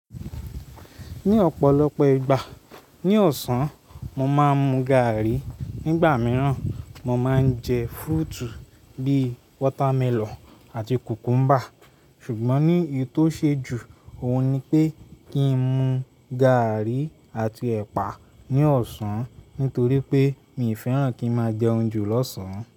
Ní ọ̀pọ̀lọpọ̀ ìgbà ní ọ̀sán mo máa ń mu gaàrí. Nígbà mìíràn, mo máa ń jẹ fúrútù bíi wọ́támẹlọ̀n àti kùkúmbà. Ṣùgbọ́n ní ì tó ṣe jù, òun ni pé kí n mu gaàrí àti ẹ̀pà ní ọ̀sán nítorí pé mi ò fẹ́ràn kí n máa jẹ oúnjẹ lọ́sàn-án.